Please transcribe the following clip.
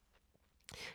DR K